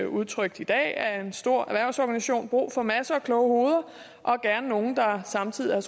udtrykt i dag af en stor erhvervsorganisation brug for masser af kloge hoveder og gerne nogle der samtidig har